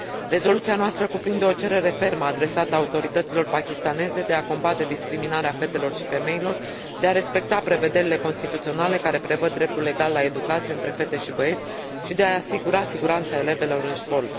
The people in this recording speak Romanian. Rezoluția noastră cuprinde o cerere fermă adresată autorităților pakistaneze de a combate discriminarea fetelor și femeilor, de a respecta prevederile constituționale care prevăd dreptul egal la educație între fete și băieți, și de a asigura siguranța elevelor în școli.